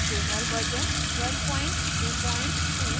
jmol version 1222 और